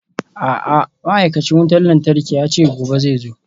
A'a ma'aikacin wutar lantarki yace gobe zai zo.